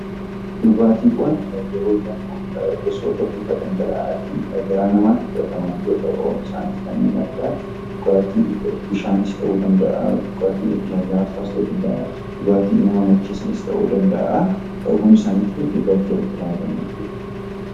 Dhugaatiiwwan yeroo jennuu gosoota bifa dhangala'aatiin garaa namaatti fudhataman yeroo ta'u, isaanis kanneen akka bishaanis ta'uu danda'a, dhugaatii lallaafaa ta'uu danda'a , dhugaatiiwwan nama macheessanis ta'uu danda'a hundi isaanii dhugaatii jalatti ramadamuu.